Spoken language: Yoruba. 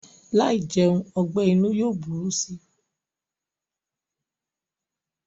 Láì jẹun ọgbẹ́-inú yóò burú si.